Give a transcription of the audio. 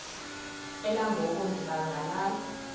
elangoku ndiba ngalala